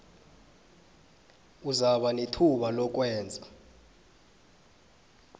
uzakuba nethuba lokwenza